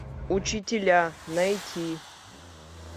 учителя найти